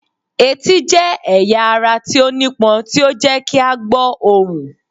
Eti jẹ ẹya ara ti o nipon ti o jẹ ki a gbo ohun.